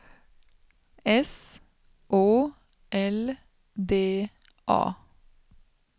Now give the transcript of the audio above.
S Å L D A